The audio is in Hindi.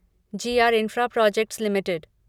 ji R infra projects limited